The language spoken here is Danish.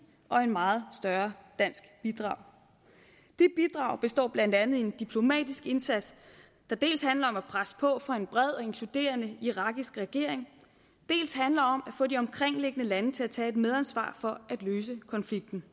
og et meget større dansk bidrag det bidrag består blandt andet af en diplomatisk indsats der dels handler om at presse på for en bred og inkluderende irakisk regering dels handler om at få de omkringliggende lande til at tage et medansvar for at løse konflikten